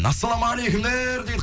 ассалаумағалейкумдер дейді